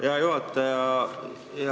Hea juhataja!